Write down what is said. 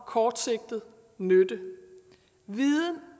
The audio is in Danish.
kortsigtet nytte viden